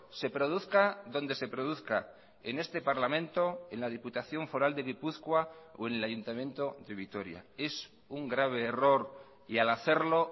se produzca donde se produzca en este parlamento en la diputación foral de gipuzkoa o en el ayuntamiento de vitoria es un grave error y al hacerlo